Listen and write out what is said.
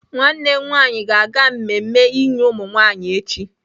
Nwannem nwanyi ga-aga mmemme inye umunwanyi echi.